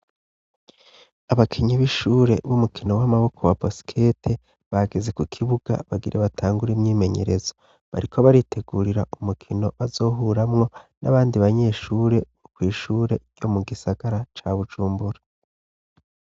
Abakenyi b'ishure b'umukino w'amaboko wa basikete bageze ku kibuga bagire batangura imyimenyerezo bariko baritegurira umukino bazohuramwo n'abandi banyeshure bo kw'ishure yo mu gisagara ca bujumbura.